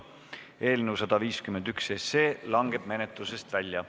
Eelnõu 151 langeb menetlusest välja.